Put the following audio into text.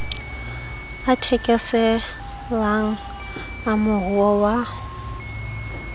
a thekeselang a moruo wa